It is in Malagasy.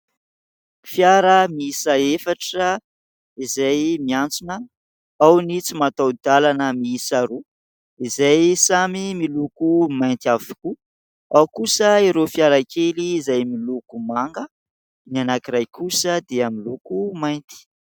Fiara miisa efatra izay miantsona. Ao ny tsy mataho-dalana miisa roa izay samy miloko mainty avokoa, ao kosa ireo fiara kely izay miloko manga, ny anankiray kosa dia miloko mainty.